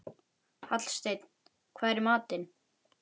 Hallsteinn, hvað er í matinn?